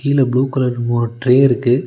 கீழ blue colour மூணு tray இருக்கு.